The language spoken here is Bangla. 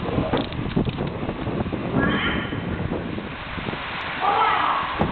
মা